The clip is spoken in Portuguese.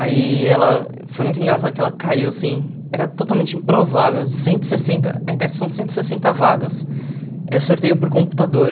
Aí, ela foi muito engraçado que ela caiu, assim, era totalmente improvável, cento e sessenta, a ETESP são cento e sessenta vagas, é sorteio por computador.